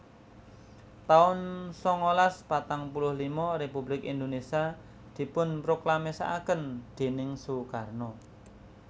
taun sangalas patang puluh lima Republik Indonesia dipunproklamasèkaken déning Soekarno